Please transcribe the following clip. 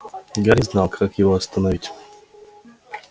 гарри не знал как его остановить